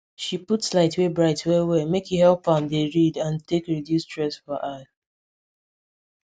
she put light wey bright well well make e help am am dey read and take reduce stress for eye